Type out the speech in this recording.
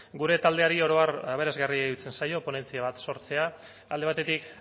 gure taldeari oro har aberasgarrai iruditzen zaio ponentzia bat sortzea alde batetik